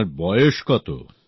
আপনার বয়স কত